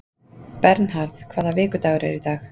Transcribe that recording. Bernharð, hvaða vikudagur er í dag?